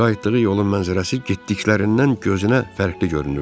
Qayıtdığı yolun mənzərəsi getdiklərindən gözünə fərqli görünürdü.